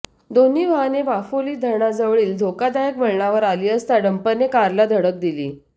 दोन्ही वाहने वाफोली धरणाजवळील धोकादायक वळणावर आली असता डंपरने कारला धडक दिली